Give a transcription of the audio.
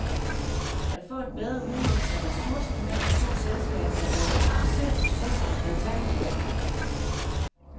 At få en bedre udnyttelse af ressourcerne mellem de to selskaber er dog en kompliceret proces, der vil tage nogle år.